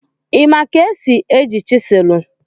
Ị ma ka esi eji chiselụ?